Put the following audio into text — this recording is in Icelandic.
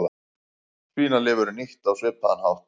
Svínalifur er nýtt á svipaðan hátt.